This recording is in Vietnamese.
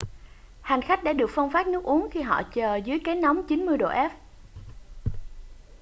hành khách đã được phân phát nước uống khi họ chờ dưới cái nóng 90 độ f